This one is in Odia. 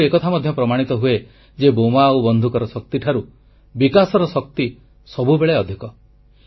ଏଥିରୁ ଏକଥା ମଧ୍ୟ ପ୍ରମାଣିତ ହୁଏ ଯେ ବୋମା ଆଉ ବନ୍ଧୁକର ଶକ୍ତିଠାରୁ ବିକାଶର ଶକ୍ତି ସବୁବେଳେ ଅଧିକ